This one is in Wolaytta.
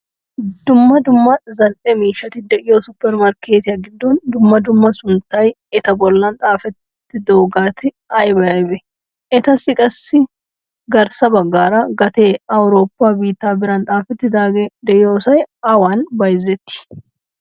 Dumma dumma zal'ee miishshati deiyo super markketiyaa giddon dumma dumma sunttay etta bollan xaafettidogetti aybe aybe? Etassi qassi garssa baggaara gatee awuroppa biitta biran xaafettidage deiyosay awan bayzzetti?